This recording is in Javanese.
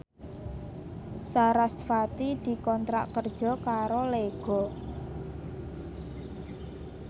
sarasvati dikontrak kerja karo Lego